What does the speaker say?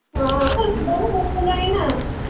ହଁ ବୟସ ହେଲାଣି ନା ।